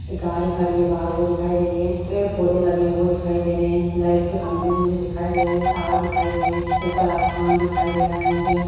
एक गाड़ी खड़ी है बाहर वो दिखाई दे रही है पेड़-पौधे लगे वो दिखाई दे रहे हैं लाइट के खंभे मुझे दिखाई दे रहे हैं तार दिखाई दे रहे हैं ऊपर आसमान दिखाई दे रहा है मुझे--